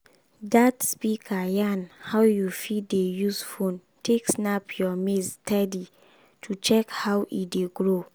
that speaker yan how you fit dey use phone take snap your maize steady to check how e dey grow.